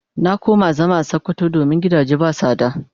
Na koma zama a sokoto domin gidage ba sada.